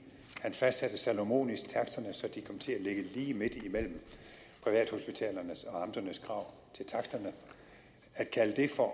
han fastsatte salomonisk taksterne så de kom til at ligge lige midt imellem privathospitalernes og amternes krav til taksterne at kalde det for